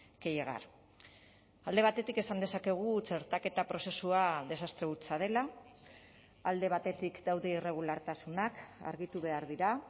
que llegar alde batetik esan dezakegu txertaketa prozesua desastre hutsa dela alde batetik daude irregulartasunak argitu behar dira